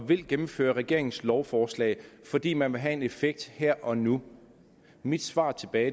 ville gennemføre regeringens lovforslag fordi man ville have en effekt her og nu mit svar tilbage